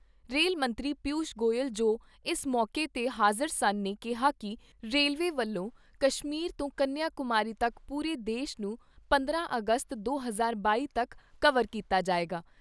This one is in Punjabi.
ਰੇਲ ਮੰਤਰੀ ਪਿਊਸ਼ ਗੋਇਲ ਜੋ ਇਸ ਮੌਕੇ 'ਤੇ ਹਾਜ਼ਰ ਸਨ ਨੇ ਕਿਹਾ ਕਿ ਰੇਲਵੇ ਵਲੋਂ ਕਸ਼ਮੀਰ ਤੋਂ ਕੰਨਿਆਂ ਕੁਮਾਰੀ ਤੱਕ ਪੂਰੇ ਦੇਸ਼ ਨੂੰ ਪੰਦਰਾਂ ਅਗਸਤ ਦੋ ਹਜ਼ਾਰ ਬਾਈ ਤੱਕ ਕਵਰ ਕੀਤਾ ਜਾਏਗਾ।